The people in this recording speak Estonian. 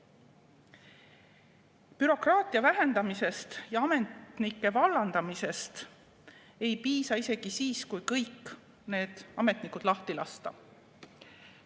Bürokraatia vähendamisest ja ametnike vallandamisest ei piisa isegi siis, kui kõik ametnikud lahti lasta.